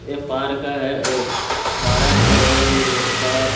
ये पार्क है ये पारक है ये यहाँ पर--